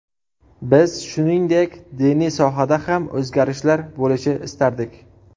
Biz, shuningdek, diniy sohada ham o‘zgarishlar bo‘lishi istardik”.